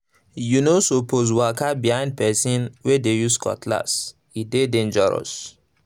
you no suppose waka behind person wey dey use cutlass—e dey dangerous